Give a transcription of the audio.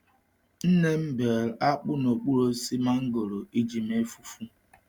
Nne m bee akpụ n’okpuru osisi mangoro iji mee fufu.